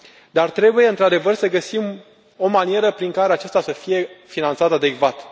Dar trebuie, într adevăr, să găsim o manieră prin care acesta să fie finanțat adecvat.